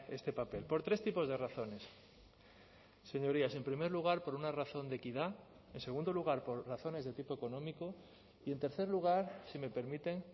este papel por tres tipos de razones señorías en primer lugar por una razón de equidad en segundo lugar por razones de tipo económico y en tercer lugar si me permiten